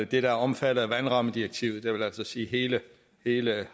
det der er omfattet af vandrammedirektivet det vil altså sige hele hele